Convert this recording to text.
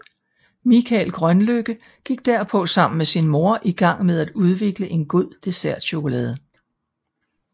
Mikael Grønlykke gik derpå sammen med sin mor i gang med at udvikle en god dessertchokolade